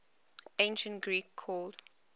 ancient greek called